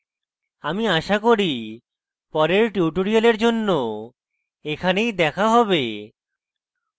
আমি আশা করি পরের tutorial জন্য এখানেই দেখা হবে